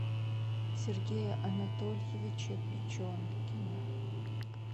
сергея анатольевича печенкина